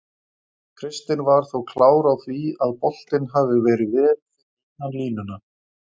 Kristinn var þó klár á því að boltinn hafi verið vel fyrir innan línuna.